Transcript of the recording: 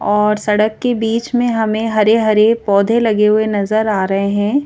और सड़क के बीच में हमें हरे-हरे पौधे लगे हुए नजर आ रहे हैं।